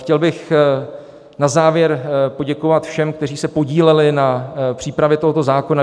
Chtěl bych na závěr poděkovat všem, kteří se podíleli na přípravě tohoto zákona.